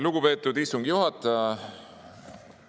Lugupeetud istungi juhataja!